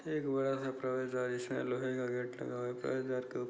एक बड़ा सा प्रवेश द्वार जिसमे लोहे का गेट लगा हुआ है पहरेदार --